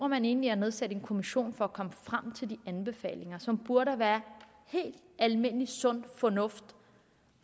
man egentlig at nedsætte en kommission for at komme frem til de anbefalinger som burde være helt almindelig sund fornuft